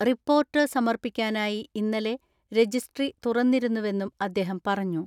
Report സമർപ്പിക്കാനായി ഇന്നലെ registry തുറ ന്നിരുന്നവെന്നും അദ്ദേഹം പറഞ്ഞു.